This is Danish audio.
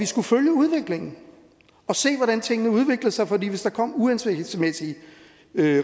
skulle følge udviklingen og se hvordan tingene udviklede sig for hvis der kom uhensigtsmæssige